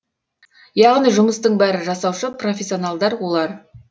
яғни жұмыстың бәрі жасаушы профессионалдар олар